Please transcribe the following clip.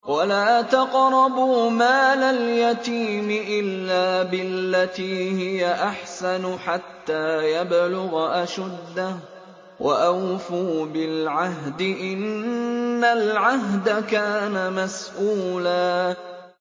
وَلَا تَقْرَبُوا مَالَ الْيَتِيمِ إِلَّا بِالَّتِي هِيَ أَحْسَنُ حَتَّىٰ يَبْلُغَ أَشُدَّهُ ۚ وَأَوْفُوا بِالْعَهْدِ ۖ إِنَّ الْعَهْدَ كَانَ مَسْئُولًا